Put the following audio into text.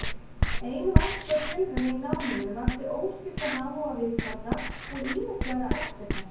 Ein verkleg tilraun í náminu vakti óskiptan áhuga viðstaddra og ýmislega eftirþanka.